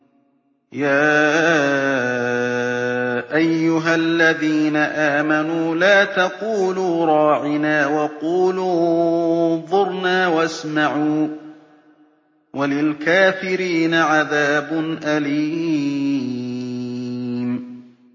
يَا أَيُّهَا الَّذِينَ آمَنُوا لَا تَقُولُوا رَاعِنَا وَقُولُوا انظُرْنَا وَاسْمَعُوا ۗ وَلِلْكَافِرِينَ عَذَابٌ أَلِيمٌ